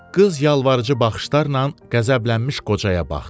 Qız yalvarıcı baxışlarla qəzəblənmiş qocaya baxdı.